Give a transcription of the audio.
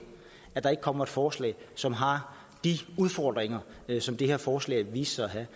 at der ikke kommer et forslag som har de udfordringer som det her forslag viste sig at have